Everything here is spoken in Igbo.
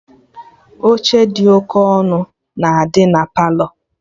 Oche dị oke ọma na-adị na Palọ